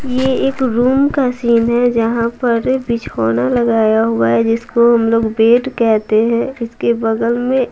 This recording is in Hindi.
ये एक रूम का सीन है जहां पर बिछौना लगाया हुआ है जिसको हम लोग बेड कहते हैं जिसके बगल में--